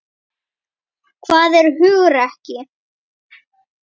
Hvað er hugrekki?